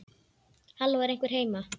Halló, er einhver heima?